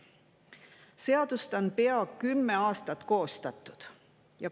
Seadust on koostatud pea kümme aastat.